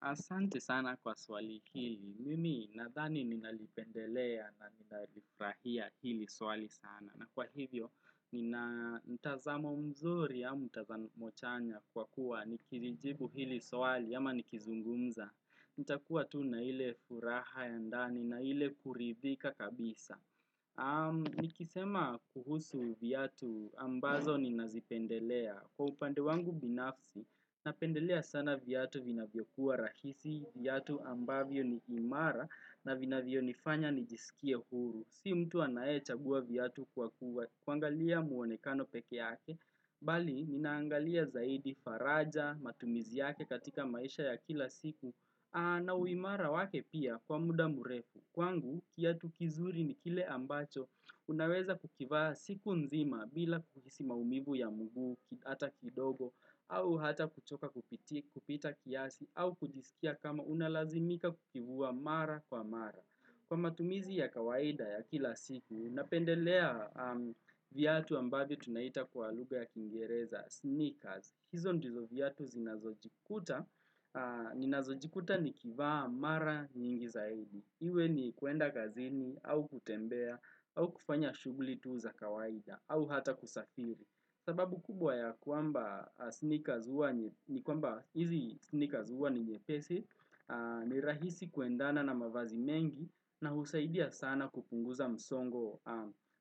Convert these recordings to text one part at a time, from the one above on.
Asante sana kwa swali hili, mimi nadhani ninalipendelea na ninalifurahia hili swali sana. Na kwa hivyo, ninamtazamo mzuri au mtazamo chanya kwa kuwa, nikilijibu hili swali ama nikizungumza. Nitakuwa tu na ile furaha ya ndani na ile kuridhika kabisa. Nikisema kuhusu viatu ambazo ninazipendelea. Kwa upande wangu binafsi, napendelea sana viatu vinavyokuwa rahisi, viatu ambavyo ni imara na vinavyonifanya nijisikie huru. Si mtu anae chagua viatu kwa kuangalia mwonekano peke yake, bali ninaangalia zaidi faraja, matumizi yake katika maisha ya kila siku, na uimara wake pia kwa muda mrefu. Kwangu, kiatu kizuri ni kile ambacho, unaweza kukivaa siku nzima bila kuhisi maumivu ya mguu, hata kidogo, au hata kuchoka kupita kiasi, au kujisikia kama unalazimika kukivua mara kwa mara. Kwa matumizi ya kawaida ya kila siku, ninapendelea viatu ambavyo tunaita kwa lugha ya kingereza, sneakers. Hizo ndizo viatu ninazojikuta nikivaa mara nyingi zaidi. Iwe ni kuenda kazini, au kutembea, au kufanya shughuli tu za kawaida, au hata kusafiri. Sababu kubwa ya kwamba sneaker huwa ni nyepesi, ni rahisi kuendana na mavazi mengi na husaidia sana kupunguza msongo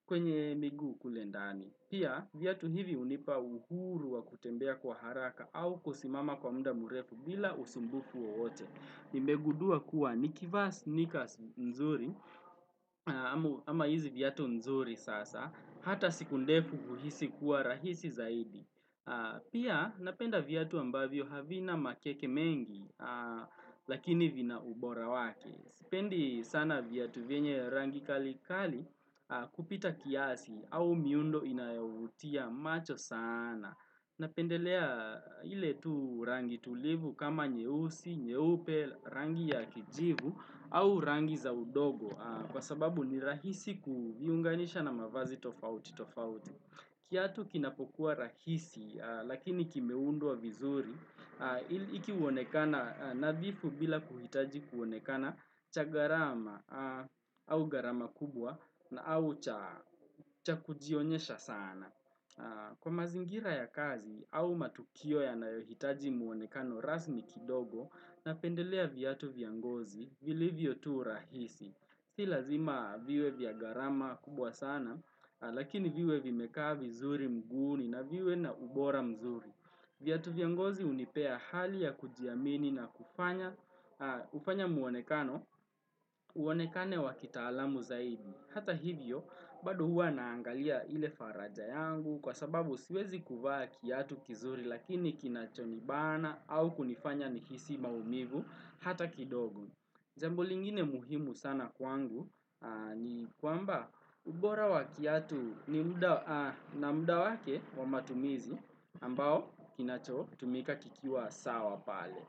kwenye miguu kule ndani. Pia, viatu hivi hunipa uhuru wa kutembea kwa haraka au kusimama kwa muda murefu bila usumbufu wowote. Nimegundua kuwa nikivaa sneakers nzuri ama hizi viatu nzuri sasa hata siku ndefu huhisi kuwa rahisi zaidi. Pia napenda viatu ambavyo havina makeke mengi lakini vina ubora wake. Sipendi sana viatu vyenye rangi kalikali kupita kiasi au miundo inayavutia macho sana. Na pendelea ile tu rangi tulivu kama nyeusi, nyeupe, rangi ya kijivu au rangi za udongo Kwa sababu ni rahisi kuviunganisha na mavazi tofauti tofauti kiatu kinapokuwa rahisi lakini kimeundwa vizuri hiki huonekana nadhifu bila kuhitaji kuonekana cha gharama au gharama kubwa na au cha kujionyesha sana Kwa mazingira ya kazi au matukio yanayohitaji muonekano rasmi kidogo napendelea viatu vya ngozi vilivyotu rahisi. Si lazima viwe vya gharama kubwa sana lakini viwe vimekaa vizuri mguuni na viwe na ubora mzuri. Viatu vya ngozi hunipea hali ya kujiamini na kufanya muonekano uonekane wa kitaalamu zaidi. Hata hivyo, bado huwa naangalia ile faraja yangu kwa sababu siwezi kuvaa kiatu kizuri lakini kinachonibana au kunifanya nihisi maumivu hata kidogo. Jambo lingine muhimu sana kwangu ni kwamba ubora wa kiatu na muda wake wa matumizi ambao kinachotumika kikiwa sawa pale.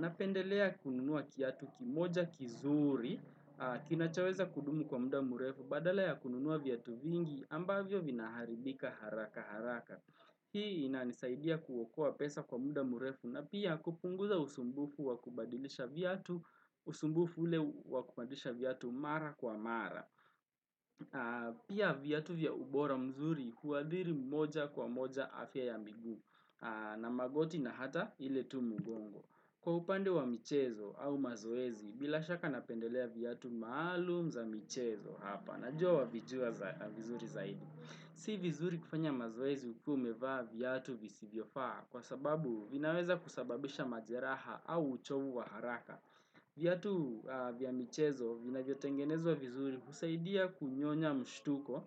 Napendelea kununua kiatu kimoja kizuri kinachoweza kudumu kwa muda mrefu badala ya kununua viatu vingi ambavyo vinaharibika haraka haraka. Hii inanisaidia kuokoa pesa kwa muda mrefu na pia kupunguza usumbufu wa kubadilisha viatu usumbufu ule wa kubadilisha viatu mara kwa mara Pia viatu vya ubora mzuri kuadhiri moja kwa moja afya ya miguu na magoti na ata ile tu mgongo. Kwa upande wa michezo au mazoezi bila shaka napendelea viatu maalumu za michezo hapa najua wavijua vizuri zaidi. Si vizuri kufanya mazoezi ukiwaumevaa viatu visivyofaa kwa sababu vinaweza kusababisha majeraha au uchovu wa haraka. Viatu vya michezo vinavyotengenezwa vizuri husaidia kunyonya mshtuko,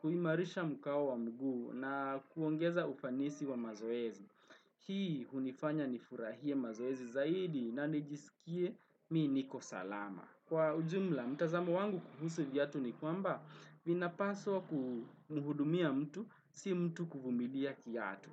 kuimarisha mkao wa mguu na kuongeza ufanisi wa mazoezi. Hii hunifanya nifurahie mazoezi zaidi na nijisikie mimi niko salama. Kwa ujumla, mtazamo wangu kuhusu viatu ni kwamba vinapaswa kuhudumia mtu, si mtu kuhudumia kiatu.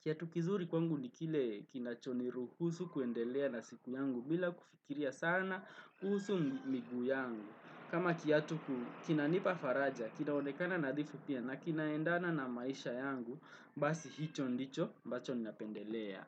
Kiatu kizuri kwangu ni kile kinachoniruhusu kuendelea na siku yangu bila kufikiria sana kuhusu miguu yangu. Kama kiatu kinanipa faraja, kinaonekana nadhifu pia na kinaendana na maisha yangu, basi hicho ndicho, ambacho ninapendelea.